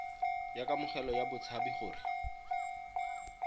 ya kamogelo ya batshabi gore